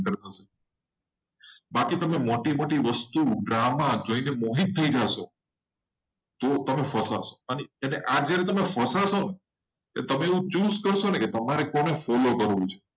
બાકિ તમે મોટી-મોટી વસ્તુ જોઈને વસ્તુ drama તમને ફસાશો. અને જો તમે આ રીતે ફસાશો તમે આમ choose કરશો ને તમારે કોને follow કરવો છે?